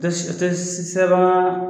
Tɛ tɛ sɛbɛn